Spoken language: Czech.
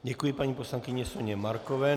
Děkuji paní poslankyni Soně Markové.